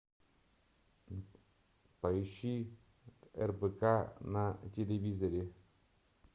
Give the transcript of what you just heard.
поищи рбк на телевизоре